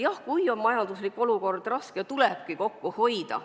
Jah, kui on majanduslik olukord raske, tulebki kokku hoida.